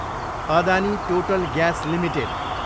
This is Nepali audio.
Adani total gas Ltd